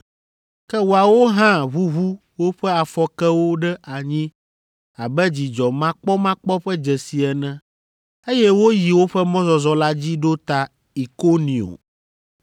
Ke woawo hã ʋuʋu woƒe afɔkewo ɖe anyi abe dzidzɔmakpɔmakpɔ ƒe dzesi ene, eye woyi woƒe mɔzɔzɔ la dzi ɖo ta Ikonio.